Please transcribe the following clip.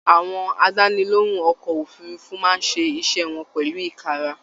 Àwọn àdánilohùn ọkọ òfurùnfu máa ṣe iṣẹ wọn pẹlu ikara